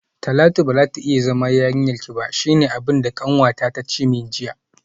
Talatu bazata iya zama yarinyarki ba shine abinda kanwata tace min jiya